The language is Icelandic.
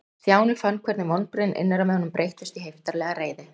Stjáni fann hvernig vonbrigðin innra með honum breyttust í heiftarlega reiði.